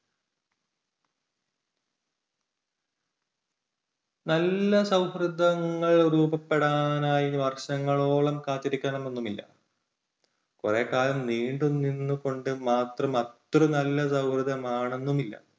നല്ല സൗഹൃദങ്ങൾ രൂപപ്പെടാനായി വർഷങ്ങളോളം കാത്തിരിക്കണം എന്നൊന്നുമില്ല. കുറേക്കാലം നീണ്ടുനിന്നുകൊണ്ട് മാത്രം അത്ര നല്ല സൗഹൃദം ആണെന്നുമില്ല,